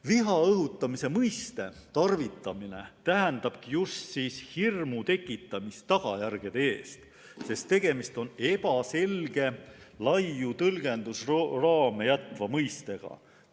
Viha õhutamise mõiste tarvitamine tähendabki just hirmu tekitamist tagajärgede ees, sest tegemist on ebaselge, laiu tõlgendusraame jätva mõistega.